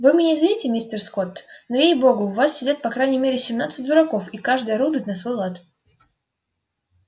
вы меня извините мистер скотт но ей богу в вас сидят по крайней мере семнадцать дураков и каждый орудует на свой лад